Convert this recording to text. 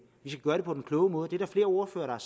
på den kloge måde der er flere ordførere